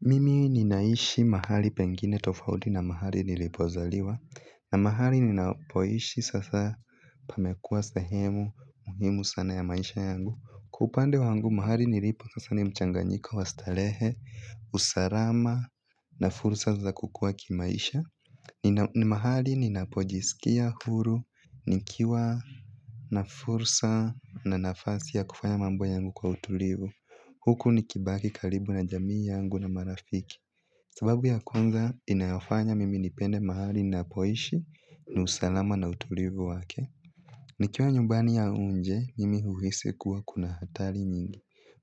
Mimi ninaishi mahali pengine tofauti na mahali nilipozaliwa. Na mahali ninapoishi sasa pamekuwa sehemu muhimu sana ya maisha yangu. Kwa upande wangu mahali nilipo sasa ni mchanganyiko wa starehe, usalama na fursa za kukua kimaisha. Ni mahali ninapojisikia huru nikiwa na fursa na nafasi ya kufanya mambo yangu kwa utulivu huku nikibaki karibu na jamii yangu na marafiki sababu ya kwanza inayofanya mimi nipende mahali ninapoishi ni usalama na utulivu wake. Nikiwa nyumbani au nje, mimi uhisi kuwa kuna hatari nyingi.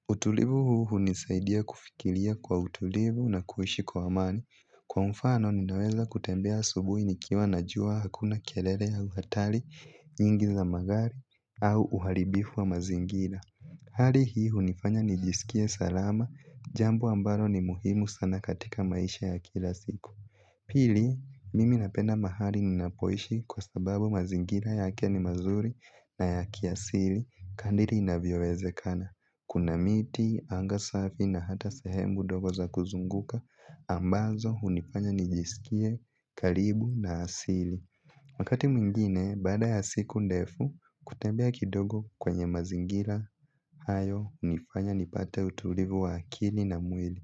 Utulivu huu hunisaidia kufikiria kwa utulivu na kuishi kwa amani. Kwa mfano ninaweza kutembea asubuhi nikiwa najua hakuna kelele au hataru nyingi za magari au uharibifu wa mazingira hali hii hunifanya nijisikie salama, jambo ambalo ni muhimu sana katika maisha ya kila siku. Pili, mimi napenda mahali ninapoishi kwa sababu mazingira yake ni mazuri na ya kiasili. Kadri inavyowezekana, kuna miti, anga safi na hata sehemu ndogo za kuzunguka ambazo hunifanya nijisikie karibu na asili. Wakati mwingine, baada ya siku ndefu, kutembea kidogo kwenye mazingira, hayo, hunifanya, nipate utulivu wa akili na mwili.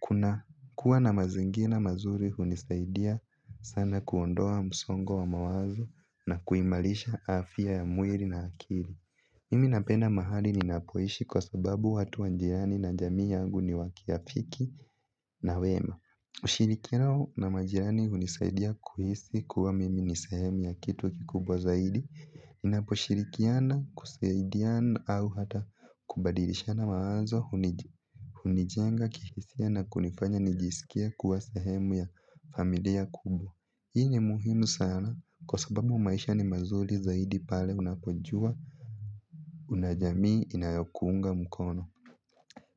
Kuna kuwa na mazingira mazuri hunisaidia sana kuondoa msongo wa mawazo na kuimarisha afya ya mwili na akili. Mimi napenda mahali ninapoishi kwa sababu watu wa jirani na jamii yangu ni wa kirafiki na wema. Ushirikia na majirani hunisaidia kuhisi kuwa mimi ni sehemu ya kitu kikubwa zaidi ninaposhirikiana kusaidiana au hata kubadilishana mawazo hunijenga kihisia na kunifanya nijisikie kuwa sehemu ya familia kubwa. Hii ni muhimu sana kwa sababu maisha ni mazuri zaidi pale unapojua una jamii inayokuunga mkono.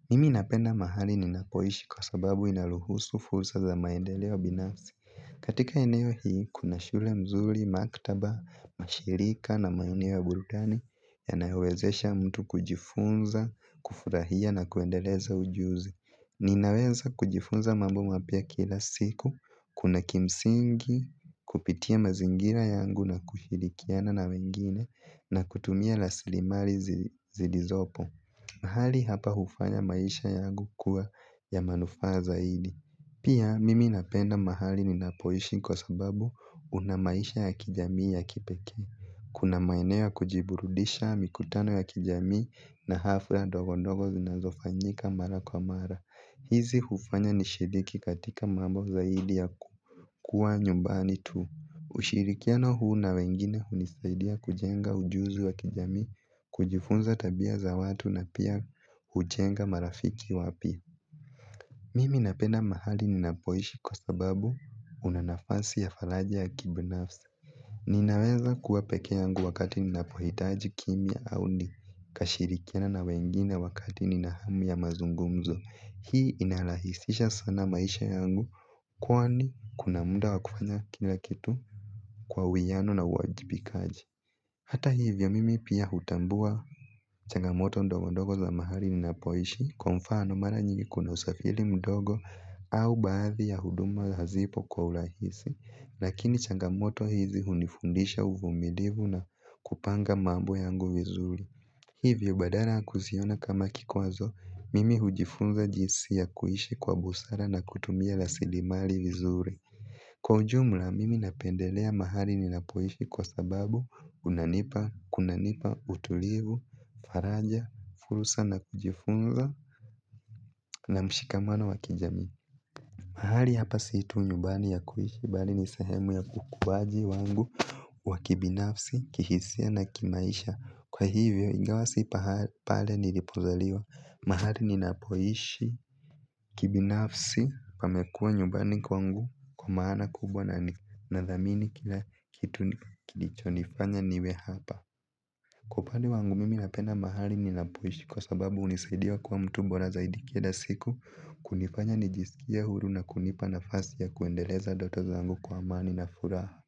Mimi napenda mahali ninakoishi kwa sababu ina ruhusu fursa za maendeleo binafsi. Katika eneo hii, kuna shule mzuri, maktaba, mashirika na maeneo ya burudani yanayowezesha mtu kujifunza, kufurahia na kuendeleza ujuzi. Ninaweza kujifunza mambo mapya kila siku, kuna kimsingi kupitia mazingira yangu na kushirikiana na wengine na kutumia rasilimali zilizopo. Mahali hapa hufanya maisha yangu kuwa ya manufaa zaidi. Pia mimi napenda mahali ninapoishi kwa sababu una maisha ya kijami ya kipeke. Kuna maeneo ya kujiburudisha mikutano ya kijami na hafla ndogo ndogo dogo zinazofanyika mara kwa mara. Hizi hufanya nishiruki katika mambo zaidi ya kukuwa nyumbani tu. Ushirikiano huu na wengine hunisaidia kujenga ujuzi wa kijami. Kujifunza tabia za watu na pia hujenga marafiki wapya. Mimi napenda mahali ninapoishi kwa sababu una nafansi ya faraja ya kibinafsi. Ninaweza kuwa pekee yangu wakati ninapohitaji kimya au ni kashirikiane na wengine wakati nina hamu ya mazungumzo. Hii inarahisisha sana maisha yangu. Kwani kuna muda wa kufanya kila kitu kwa uwiano na uwajibikaji hata hivyo mimi pia hutambua changamoto ndogo ndogo za mahali ninapoishi kwa mfano mara nyingi kuna usafiri mdogo au baadhi ya huduma hazipo kwa urahisi. Lakini changamoto hizi hunifundisha uvumilivu na kupanga mambo yangu vizuri. Hivyo badaa ya kuziona kama kikwazo mimi hujifunza jinsi ya kuishi kwa busara na kutumia rasilimali vizuri. Kwa ujumla mimi napendelea mahali ninapoishi kwa sababu unanipa, kunanipa, utulivu, faraja, fursa na kujifunza na mshikamano wa kijami. Mahali hapa si tu nyumbani ya kuishi bali ni sehemu ya ukuwaji wangu wa kibinafsi, kihisia na kimaisha. Kwa hivyo ingawa si pale nilipozaliwa mahali ninapoishi kibinafsi pamekuwa nyumbani kwangu kwa maana kubwa na nathamini kila kitu kilicho nifanya niwe hapa. Kwa upande wangu mimi napenda mahali ninapoishi kwa sababu hunisaidia kuwa mtu bora zaidi kila siku kunifanya nijisikie huru na kunipa nafasi ya kuendeleza ndoto zangu kwa amani na furaha.